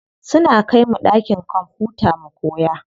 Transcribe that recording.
Suna kaimu ɗakin kwamfuta mu koya.